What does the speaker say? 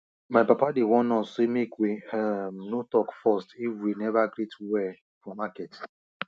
my papa dey warn us say make we um no talk first if we never greet well for market